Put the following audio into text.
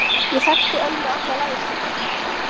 Ég þekkti Ölmu alla ævi hennar.